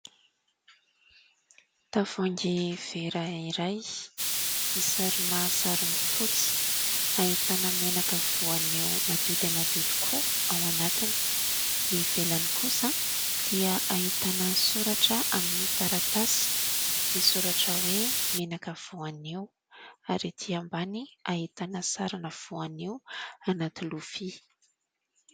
Tavoahangy vera iray misarona sarony fotsy ahitana menaka voanio madio dia madio tokoa ao anatiny. Ny ivelany kosa dia ahitana soratra amin'ny taratasy misoratra hoe menaka voanio ary ety ambany ahitana sarina voanio anaty lovia.